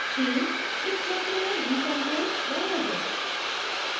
themeइस क्षेत्र में gchempaint रहने दें